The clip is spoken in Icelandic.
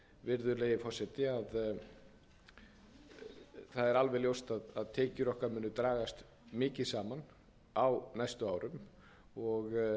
virðulegi forseti að það er alveg ljóst að tekjur okkar munu dragast mikið saman á næstu árum og